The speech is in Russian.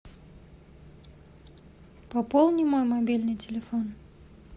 пополни мой мобильный телефон